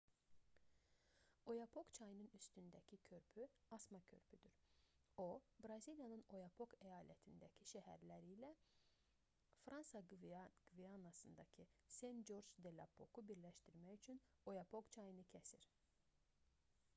oyapok çayının üstündəki körpü asma körpüdür o braziliyanın oyapok əyalətindəki şəhərləri ilə fransa qvianasındakı sen-corc de-l'oapoku birləşdirmək üçün oyapok çayını kəsir